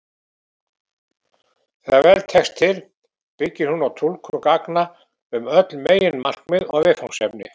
Þegar vel tekst til byggir hún á túlkun gagna um öll meginmarkmið og viðfangsefni.